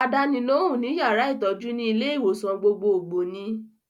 Àdánilóhùn ní yàrá ìtọ́jú ní ilé-ìwòsàn gbogbogbò ni in.